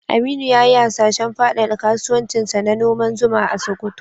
Aminu ya yi hasashen fadada kasuwancinsa na noman zuma a Sokoto.